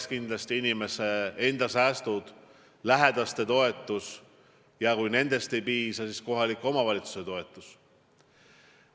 Eks kindlasti inimese enda säästud, lähedaste toetus ja kui nendest ei piisa, siis kohaliku omavalitsuse toetus.